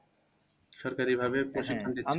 সরকারি ভাবে প্রশিক্ষণ দিচ্ছে।